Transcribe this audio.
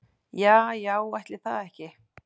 Ja já ætli það ekki.